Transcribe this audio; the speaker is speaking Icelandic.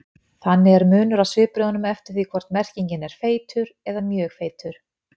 Þannig er munur á svipbrigðunum eftir því hvort merkingin er feitur eða mjög feitur.